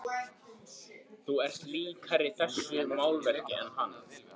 Þú ert líkari þessu málverki en hann.